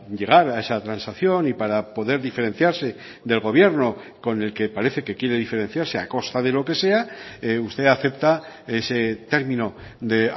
llegar a esa transacción y para poder diferenciarse del gobierno con el que parece que quiere diferenciarse a costa de lo que sea usted acepta ese término de